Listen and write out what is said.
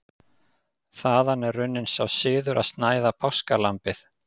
Þaðan er runninn sá siður að snæða páskalambið.